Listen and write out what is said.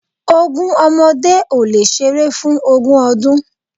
Ogún ọmọdé ò lè ṣeré fún ogún ọdún